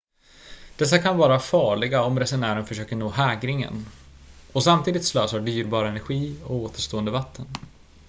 dessa kan vara farliga om resenären försöker nå hägringen och samtidigt slösar dyrbar energi och återstående vatten